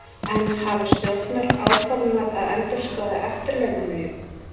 En hafa stjórnvöld áformað að endurskoða eftirlaunalögin?